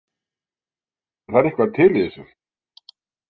En það er eitthvað til í þessu.